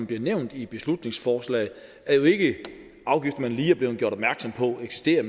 bliver nævnt i beslutningsforslaget er jo ikke afgifter man lige er blevet gjort opmærksom på eksisterer